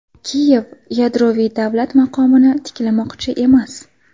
Kiyev yadroviy davlat maqomini tiklamoqchi emas.